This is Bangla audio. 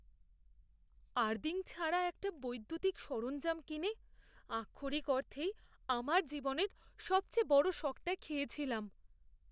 আর্থিং ছাড়া একটা বৈদ্যুতিক সরঞ্জাম কিনে আক্ষরিক অর্থেই আমার জীবনের সবথেকে বড় শকটা খেয়েছিলাম।